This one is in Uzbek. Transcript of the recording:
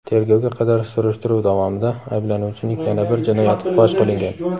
Tergovga qadar surishtiruv davomida ayblanuvchining yana bir jinoyati fosh qilingan.